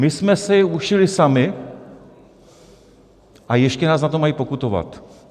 My jsme si je ušili sami, a ještě nás za to mají pokutovat!